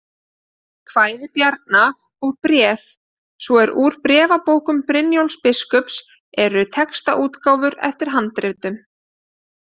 Kvæði Bjarna og Bréf, svo og Úr bréfabókum Brynjólfs biskups eru textaútgáfur eftir handritum.